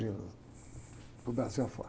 Abrindo para o Brasil afora.